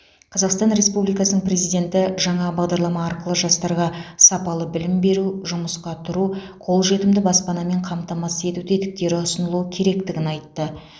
қазақстан республикасының президенті жаңа бағдарлама арқылы жастарға сапалы білім беру жұмысқа тұру қолжетімді баспанамен қамтамасыз ету тетіктері ұсынылуы керектігін айтты